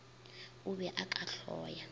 o be o ka hloya